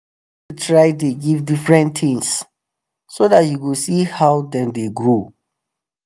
try the give different things so that u go see how them the grow